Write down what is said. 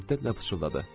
O hiddətlə pıçıldadı.